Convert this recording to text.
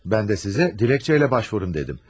Mən də sizə dilekçəylə başvurun dedim.